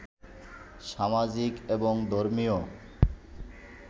সামাজিক এবং ধর্মীয়